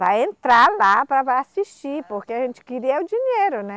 Para entrar lá, para assistir, porque a gente queria o dinheiro, né?